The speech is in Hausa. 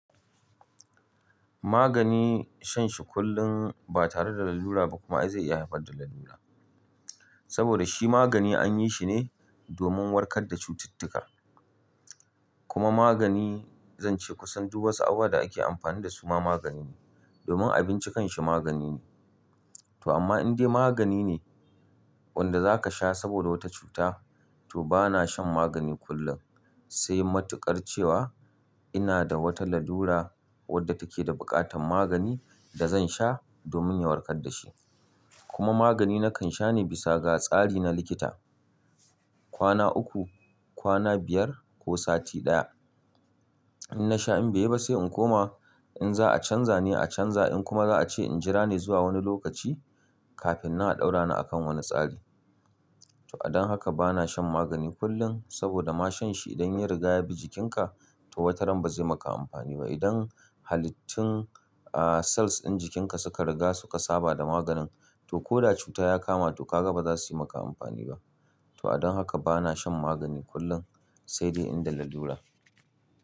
Magani, shan shi kullum ba tare da lalura ba kuma, ai zai iya haifar da lalura. Saboda shi magani an yi shi ne domin warkar da cututtuka. Kuma magani, zan ce kusan duk wasu abubuwan da ake amfani da su ma magani ne, domin abinci kanshi magani ne. To amma in dai magani ne, wanda za ka sha saboda wata cuta, to bana shan magani kullum. Sai matuƙar cewa ina da wata lalura wadda take da buƙatan magani da zan sha, domin ya warkar da shi. Kuma magani na kan sha ne bisa ga tsari na likita. Kwana uku, kwana biyar ko sati ɗaya. In na sha in bai yiba sai in koma, in za'a canza ne a canza, in kuma za'a ce in jira ne zuwa wani lokaci, kafin nan a ɗaura ni a kan wani tsari. To adon haka bana shan magani kullum, saboda ma shan shi idan ya riga ya bi jikinka, to wata ran ba zai maka amfani ba. Idan halittun, a cells ɗin jikinka suka riga suka saba da maganin, to ko da cuta ya kama to kaga ba za su yi maka amfani ba. To adon haka bana shan magani kullum sai dai in da lalura.